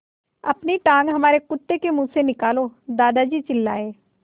अपनी टाँग हमारे कुत्ते के मुँह से निकालो दादाजी चिल्लाए